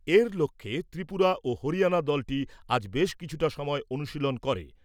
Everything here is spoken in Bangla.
এর লক্ষ্যে ত্রিপুরা ও হরিয়ানা দলটি আজ বেশ কিছুটা সময় অনুশীলন করে।